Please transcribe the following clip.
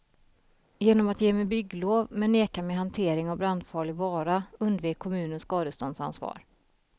Genom att ge mig bygglov men neka mig hantering av brandfarlig vara undvek kommunen skadeståndsansvar.